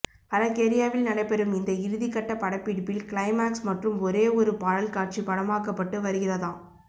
பல்கேரியாவில் நடைபெறும் இந்த இறுதிக்கட்ட படப்பிடிப்பில் கிளைமாக்ஸ் மற்றும் ஒரே ஒரு பாடல் காட்சி படமாக்கப்பட்டு வருகிறதாம்